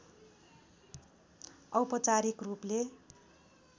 औपचारिक रूपले